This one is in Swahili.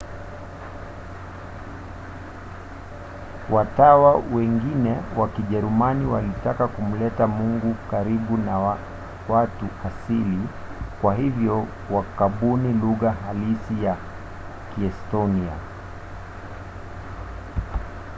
watawa wengine wa kijerumani walitaka kumleta mungu karibu na watu asili kwa hivyo wakabuni lugha halisi ya kiestonia